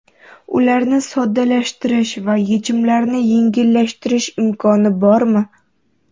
Ularni soddalashtirish va yechimlarni yengillashtirish imkoni bormi?